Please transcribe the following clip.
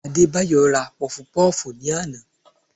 Adébáyọ̀ ra Pọfupọ́ọ̀fù ní àná